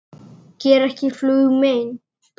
Gera ekki flugu mein.